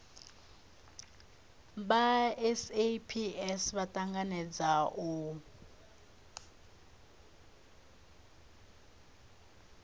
vha saps vha tanganedza u